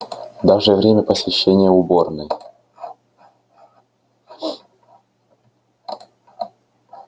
даже время посещения уборной